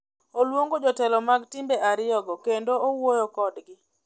Oluongo jo telo mag timbe ariyo go kendo owuoyo kodgi.